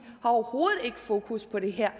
har overhovedet ikke fokus på det her